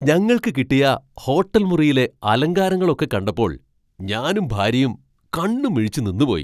ഞങ്ങൾക്ക് കിട്ടിയ ഹോട്ടൽ മുറിയിലെ അലങ്കാരങ്ങൾ ഒക്കെ കണ്ടപ്പോൾ ഞാനും ഭാര്യയും കണ്ണും മിഴിച്ച് നിന്നുപോയി.